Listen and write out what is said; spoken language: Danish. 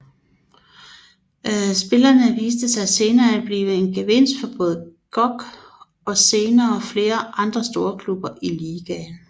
Spillerne viste sig senre at blive en genvinst for både GOG og senere flere andre storklubber i ligaen